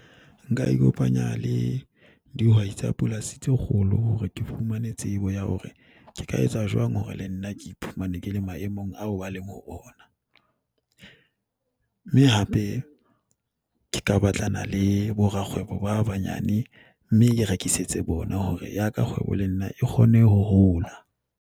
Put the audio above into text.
Nka ikopanya le dihwai tsa polasi tse kgolo hore ke fumane tsebo ya hore ke ka etsa jwang hore le nna ke iphumane ke le maemong ao ba leng ho ona. Mme hape ke ka batlana le borakgwebo ba banyane mme ke rekisetse bona hore ya ka kgwebo le nna e kgone ho hola.